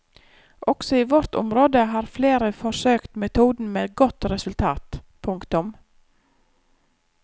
Også i vårt område har flere forsøkt metoden med godt resultat. punktum